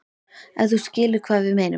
Ef þú skilur hvað við meinum.